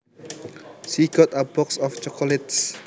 She got a box of chocolates